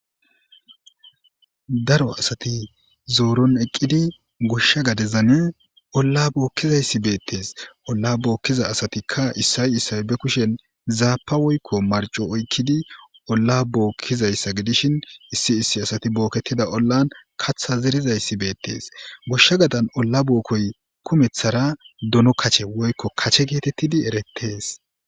daro asati zooron eqqidi goshsha gadezan olla bookkizayssi beettees olla bookkiza asatikka issay issay be kushen zaapa woykko marco oykkidi olla bookkizayssa gidishin issi issi asati booketida ollan katha zerizayssi beettees goshsha gadan olla bookkoy kumeththara dono kache woykko kache geetettidi erettees